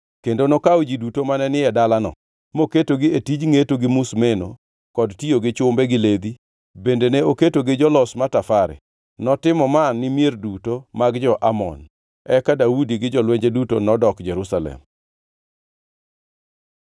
kendo nokawo ji duto mane ni e dalano, moketogi e tij ngʼeto gi musimeno kod tiyo gi chumbe gi ledhi; bende ne oketogi jolos matafare. Notimo ma ni mier duto mag jo-Amon. Eka Daudi gi jolwenje duto nodok Jerusalem.